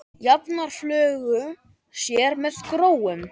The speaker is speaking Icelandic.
Jafnar fjölga sér með gróum.